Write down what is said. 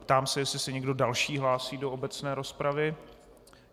Ptám se, jestli se někdo další hlásí do obecné rozpravy.